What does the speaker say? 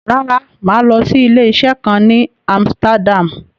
Rárá, mà á lọ sí ilé-isé kan ní Amsterdam.